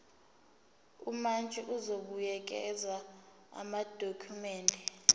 umantshi uzobuyekeza amadokhumende